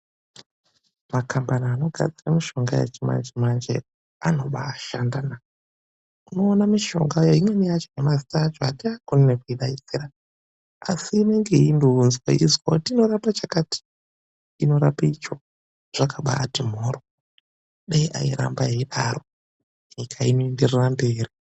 Makambani anogadzira mishonga yechimanje manje anobaa shandana. Unoona mishonga imweni yacho mazita acho atiakoni nekuadaidzira asi inenge ichindounzwa ichinzi inorapa chakati, inorapa icho. Zvakambaati mhoryo. Dai airamba eidaro. Nyika inoenderera mberi.